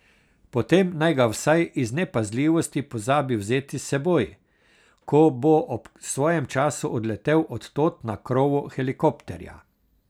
Potem naj ga vsaj iz nepazljivosti pozabi vzeti s seboj, ko bo ob svojem času odletel od tod na krovu helikopterja.